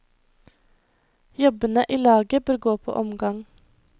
Jobbene i laget bør gå på omgang.